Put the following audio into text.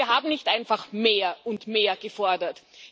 Denn wir haben nicht einfach mehr und mehr gefordert.